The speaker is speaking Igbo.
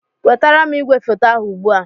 Wetara m igwefoto ahụ ugbu a!